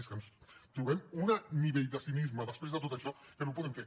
és que ens trobem un nivell de cinisme després de tot això que no ho podem fer